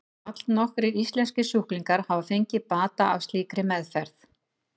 Allnokkrir íslenskir sjúklingar hafa fengið bata af slíkri meðferð.